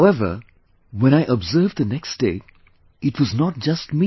However, when I looked to the other side, it was not just me